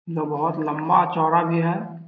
जो बहुत लंबा-चौड़ा भी है।